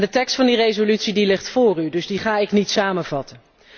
De tekst van de resolutie ligt voor u, dus die ga ik niet samenvatten.